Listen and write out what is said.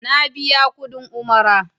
Na biya kuɗin Umara.